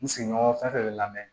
N sigiɲɔgɔn fɛn fɛn bɛ lamɛn